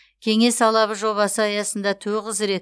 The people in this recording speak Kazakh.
кеңес алабы жобасы аясында тоғыз рет